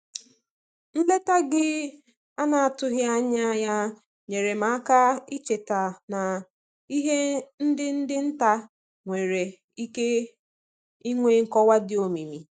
Nleta gị ana-atụghị anya ya nyeere m aka icheta na ihe ndi dị nta nwere ike nwee nkọwa di omimi.